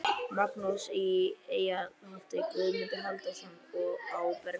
Magnússon í Eyhildarholti, Guðmundur Halldórsson á Bergsstöðum